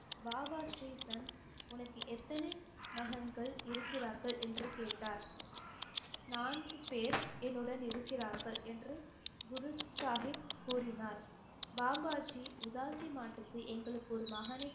பாபா ஸ்ரீசந்த் உனக்கு எத்தன மகன்கள் இருக்கிறார்கள் என்று கேட்டார் நான்கு பேர் என்னுடன் இருக்கிறார்கள் என்று குரு சாஹிப் கூறினார் பாபாஜி உதாசி மாட்டுக்கு எங்களுக்கு ஒரு மகனை